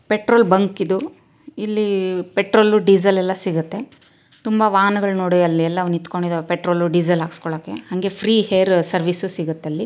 petrol bunk ಇದು ಇಲ್ಲಿ petrol diesel ಎಲ್ಲಾ ಸಿಗುತ್ತೆ ತುಂಬಾ ವಾಹನಗಳು ನೋಡಿ ಅಲ್ಲೆಲ್ಲ ನಿಂತುಕೊಂಡಿದ್ದಾವೆ ಅಲ್ಲಿ ಪೆಟ್ರೋಲ್ ಡೀಸೆಲ್ ಹಾಕಿಸ್ಕೊಳ್ಳಕ್ಕೆ ನಂಗೆ ಫ್ರೀ ಹೇರ್ ಸರ್ವಿಸ್